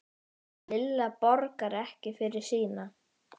Lilla borgar ekki fyrir sína.